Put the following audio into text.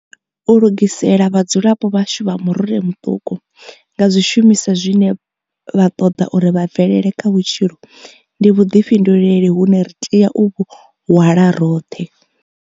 U lugisela vhadzulapo vhashu vha murole muṱuku nga zwishumiswa zwine vha ṱoḓa uri vha bvelele kha vhutshilo ndi vhuḓifhinduleli hune ri tea u vhu hwala roṱhe.